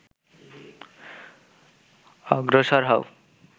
অগ্রসর হও